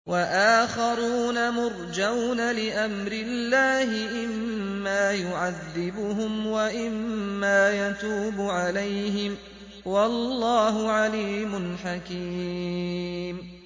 وَآخَرُونَ مُرْجَوْنَ لِأَمْرِ اللَّهِ إِمَّا يُعَذِّبُهُمْ وَإِمَّا يَتُوبُ عَلَيْهِمْ ۗ وَاللَّهُ عَلِيمٌ حَكِيمٌ